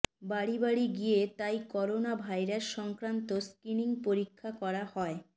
বাড়ি বাড়ি গিয়ে তাই করোনা ভাইরাস সংক্রান্ত স্ক্রীনিং পরীক্ষা করা হয়